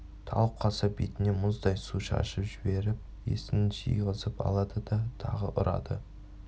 талып қалса бетіне мұздай су шашып жіберіп есін жиғызып алады да тағы ұрады